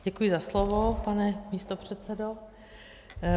Děkuji za slovo, pane místopředsedo.